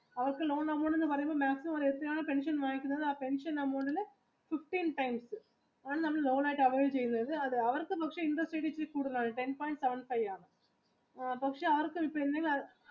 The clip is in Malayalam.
അവർക്ക് loan പെൻഷൻ വാങ്ങിക്കുന്നത് പെൻഷൻ amount ൽ fifteen times അങ്ങനെ loan ആയിട്ട് അവർ ചെയ്ത തരും അവർക്ക് പക്ഷെ interest ഇച്ചിരി കൂടുതലാണ് ten point five ആണ്